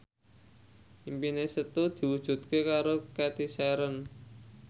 impine Setu diwujudke karo Cathy Sharon